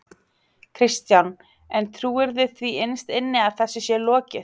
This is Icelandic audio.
Kristján: En trúirðu því innst inni að þessu sé lokið?